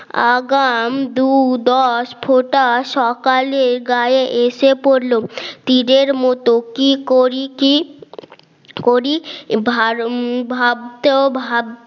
আগাম দু দশ ফোঁটা সকালে গায়ে এসে পড়ল তীরের মত কি করি কি করি ভাবতেও ভাব